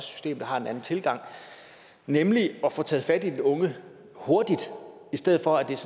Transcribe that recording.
system der har en anden tilgang nemlig at få taget fat i den unge hurtigt i stedet for at der